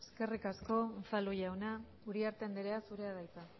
eskerrik asko unzalu jauna uriarte andrea zurea da hitza